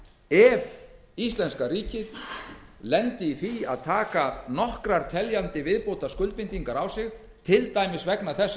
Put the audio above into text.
ef íslenska ríkið lendi í því að taka nokkrar teljandi viðbótarskuldbindingar á sig til dæmis vegna þess að